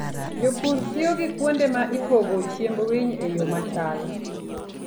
Jopur tiyo gi kuonde ma ipogo chiemb winy e yo machal.